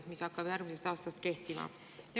See hakkab järgmisel aastal kehtima.